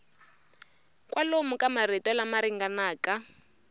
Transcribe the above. kwalomu ka marito lama ringanaka